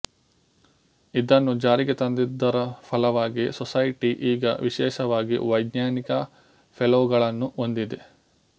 ಇದನ್ನು ಜಾರಿಗೆ ತಂದಿದ್ದರ ಫಲವಾಗಿ ಸೊಸೈಟಿ ಈಗ ವಿಶೇಷವಾಗಿ ವೈಜ್ಞಾನಿಕ ಫೆಲೋಗಳನ್ನು ಹೊಂದಿದೆ